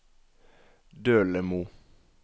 Dølemo